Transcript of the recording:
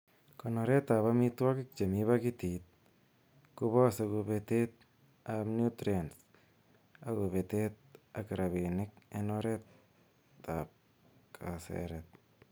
Konoretab amitwogik chemi pakitit kobose kobetet ab nutrients ak kobetet ak rabinik en oretab kaseret.